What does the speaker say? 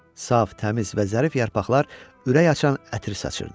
Saf, təmiz və zərif yarpaqlar ürək açan ətir saçırdı.